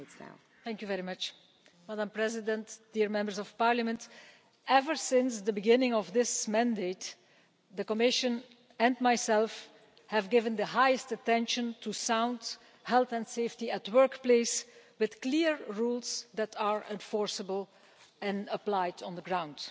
Madam President, dear Members of Parliament, ever since the beginning of this mandate, the Commission and myself have given the highest attention to sound health and safety at the workplace, with clear rules that are enforceable and applied on the ground.